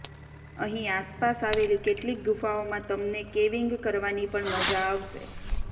અહીં આસપાસ આવેલી કેટલીક ગુફાઓમાં તમને કેવિંગ કરવાની પણ મઝા આવશે